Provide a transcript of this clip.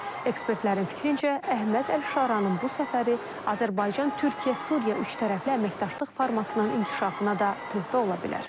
Ekspertlərin fikrincə, Əhməd Əlşaranın bu səfəri Azərbaycan, Türkiyə, Suriya üçtərəfli əməkdaşlıq formatının inkişafına da töhfə ola bilər.